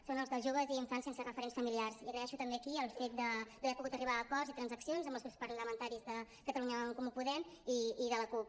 són els de joves i infants sense referents familiars i agraeixo també aquí el fet d’haver pogut arribar a acords i transaccions amb els grups parlamentaris de catalunya en comú podem i de la cup